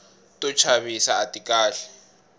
to chavisa ati kahle